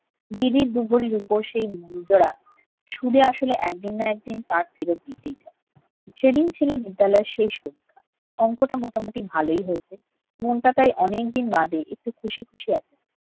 দিদির দু ভরি রুপো সেই দুল জোড়া সুদে-আসলে একদিন না একদিন তার ফিরত দিতেই হবে। সেদিন ছিল বিদ্যালয়ের শেষ পরীক্ষা, অঙ্কটা মোটামুটি ভালোই হয়েছে। মনটা তাই অনেকদিন বাদে একটু খুশি খুশি আছে।